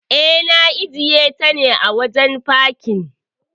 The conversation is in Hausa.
E, na ajiyeta a wajen fakin.